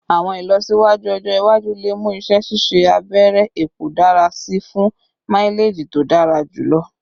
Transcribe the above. Awọn ilọsiwaju ọjọ iwaju le mu iṣẹ ṣiṣe abẹrẹ epo dara si fun maileji to dara julọ